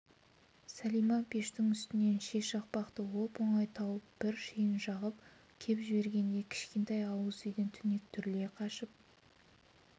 сәлима пештің үстінен ши шақпақты оп-оңай тауып бір шиін жағып кеп жібергенде кішкентай ауыз үйден түнек түріле қашып